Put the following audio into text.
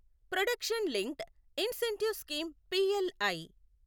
production linked incentive scheme PLI